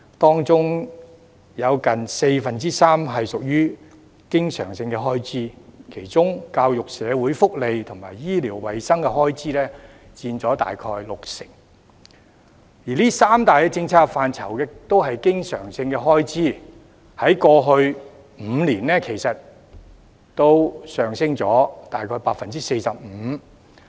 當中有近四分之三屬於經常性開支，其中教育、社會福利及醫療衞生的開支佔大約六成，而這三大政策範疇的開支都是經常性開支，在過去5年，上升了約 45%。